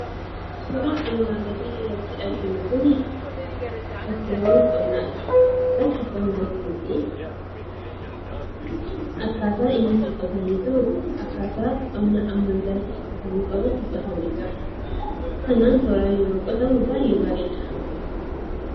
Suuraan armaan gaditti nuti arginu kun bakkeewwan qonnaati. Qonni kunis akkaataa inni itti qotamee jiru akaataa qonni ammayyaa qotamuu qabutti qotamee jira. Kanaaf tooraan yeroo qotamu baay'ee bareeda.